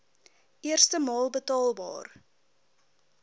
eerste maal betaalbaar